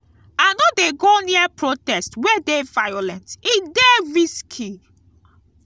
i no dey go near protest wey dey violent e dey risky.